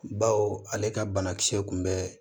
Baw ale ka banakisɛ kun bɛ